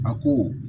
A ko